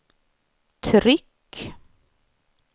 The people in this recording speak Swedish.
tryck